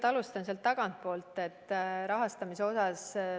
Ma alustan sealt tagantpoolt.